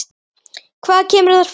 Hvað kemur þar fram?